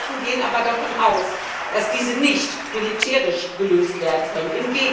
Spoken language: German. Experten gehen aber davon aus, dass diese nicht militärisch gelöst werden können.